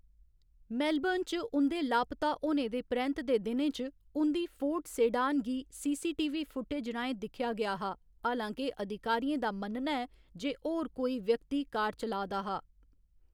Melbourne च उं'दे लापता होने दे परैंत्त दे दिनें च उं'दी फोर्ड सेडान गी सीसीटीवी फुटेज राहें दिक्खेआ गेआ हा, हालां के अधिकारियें दा मन्नना ​​​​ऐ जे कोई होर व्यक्ति कार चला दा हा।